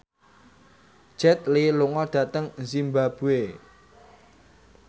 Jet Li lunga dhateng zimbabwe